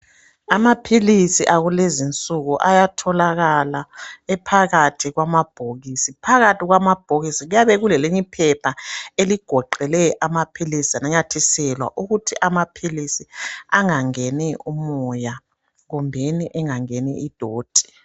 Amaphilisi akulezinsuku ayatholakala ephakathi kwamabhokisi. Phakathi kwamabhokisi kuyabe kulelinye iphepha eligoqele amaphilisi lananyathiselwa ukuthi amaphilisi angangeni umoya kumbeni engangeni idoti.